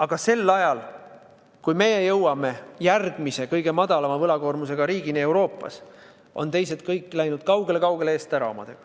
Aga sel ajal, kui me jõuame Euroopas järgmise kõige madalama võlakoormusega riigini, on kõik teised läinud kaugele-kaugele eest ära.